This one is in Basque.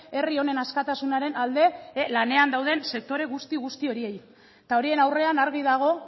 herri honen askatasunaren alde lanean dauden sektore guzti guzti horiei eta horien aurrean argi dago